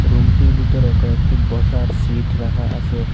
Room -টির ভিতরে কয়েকটি বসার সিট রাখা আসে।